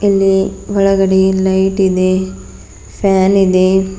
ಇಲ್ಲಿ ಒಳಗಡೆ ಲೈಟ್ ಇದೆ ಫ್ಯಾನ್ ಇದೆ.